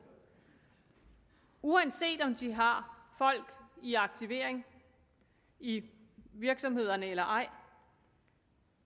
uanset om de har folk i aktivering i virksomhederne eller ej